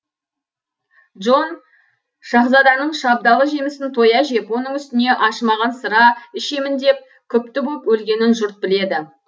джон шаһзаданың шабдалы жемісін тоя жеп оның үстіне ашымаған сыра ішемін деп күпті боп өлгенін жұрт біледі